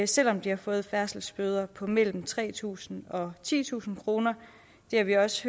selv om de har fået færdselsbøder på mellem tre tusind og titusind kroner det har vi også